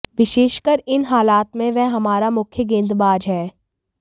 विशेषकर इन हालात में वह हमारा मुख्य गेंदबाज है